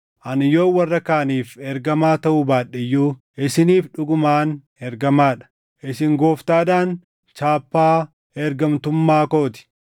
Ani yoon warra kaaniif ergamaa taʼuu baadhe iyyuu isiniif dhugumaan ergamaa dha! Isin Gooftaadhaan chaappaa ergamtummaa koo ti.